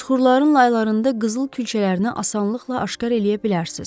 Süxurların laylarında qızıl külçələrinə asanlıqla aşkar eləyə bilərsiniz.